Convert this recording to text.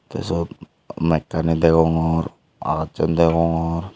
tey sot maskane degongor aagassan degongor.